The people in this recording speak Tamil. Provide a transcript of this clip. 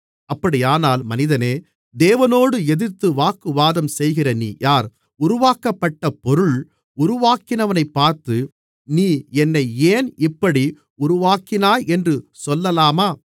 அப்படியானால் மனிதனே தேவனோடு எதிர்த்து வாக்குவாதம் செய்கிற நீ யார் உருவாக்கப்பட்ட பொருள் உருவாக்கினவனைப் பார்த்து நீ என்னை ஏன் இப்படி உருவாக்கினாய் என்று சொல்லலாமா